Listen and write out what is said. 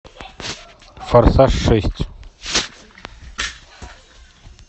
форсаж шесть